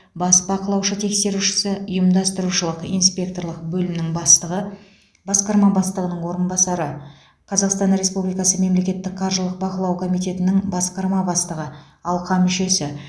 бас бақылаушы тексерушісі ұйымдастырушылық инспекторлық бөлімінің бастығы басқарма бастығының орынбасары қазақстан республикасы мемлекеттік қаржылық бақылау комитетінің басқарма бастығы алқа мүшесі